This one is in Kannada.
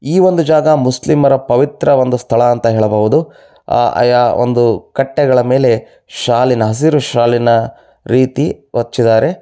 ಈ ಒಂದು ಜಾಗ ಮುಸ್ಲಿಮರ ಪವಿತ್ರ ಒಂದು ಸ್ಥಳ ಅಂತ ಹೇಳಬಹುದು ಆ ಒಂದು ಕಟ್ಟೆಗಳ ಮೇಲೆ ಶಾಲಿನ ಹಸಿರು ಶಾಲಿನ ರೀತಿ ಹೊಚ್ಚಿದ್ದಾರೆ.